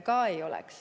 Ka ei oleks.